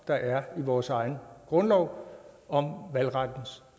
der er i vores egen grundlov om valgrettens